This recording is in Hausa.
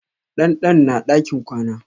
Dandan na a ɗakin kwana.